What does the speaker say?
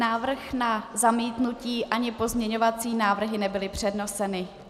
Návrh na zamítnutí ani pozměňovací návrhy nebyly předneseny.